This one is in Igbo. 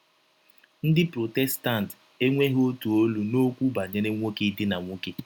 Ndị Protestant enweghị ọtụ ọlụ n’ọkwụ banyere nwọke idina nwọke.